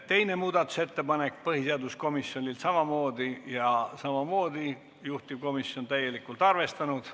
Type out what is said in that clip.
Teine muudatusettepanek on samamoodi põhiseaduskomisjonilt ja samamoodi on juhtivkomisjon seda täielikult arvestanud.